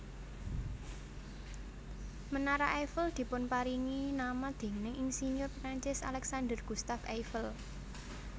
Menara Eiffel dipunparingi nama déning insinyur Perancis Alexandre Gustave Eiffel